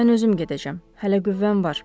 Mən özüm gedəcəm, hələ qüvvəm var.